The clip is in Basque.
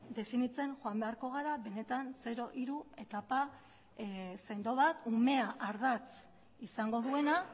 definitzen joan beharko gara benetan zero hiru etapa sendo bat umea ardatz izango duena